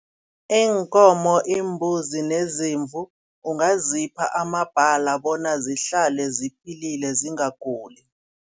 Iinkomo, imbuzi neziimvu ungazipha amabhali bona zihlale ziphilile zingakhuli.